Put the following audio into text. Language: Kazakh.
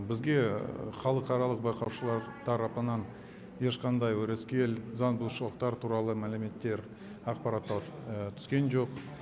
бізге халықаралық байқаушылар тарапынан ешқандай өрескел заң бұзушылықтар туралы мәліметтер ақпараттар түскен жоқ